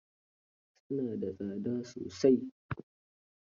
Su na da tsada sosai.